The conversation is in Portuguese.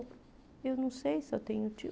Eu não sei se eu tenho tio.